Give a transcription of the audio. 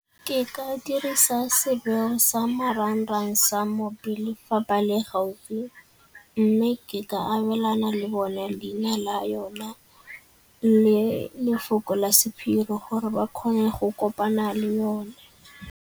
Ke ka dirisa sa marang-rang sa mo pele fa ba le gaufi mme ke ka abelana le bone leina la yone le lefoko la sephiri gore ba kgone go kopana le yone.